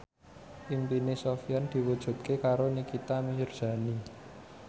impine Sofyan diwujudke karo Nikita Mirzani